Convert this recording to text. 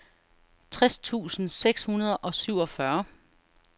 tres tusind seks hundrede og syvogfyrre